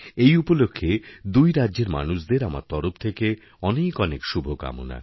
এই উপলক্ষে দুই রাজ্যের মানুষদের আমার তরফথেকে অনেক অনেক শুভকামনা